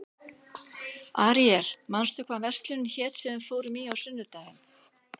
Aríel, manstu hvað verslunin hét sem við fórum í á sunnudaginn?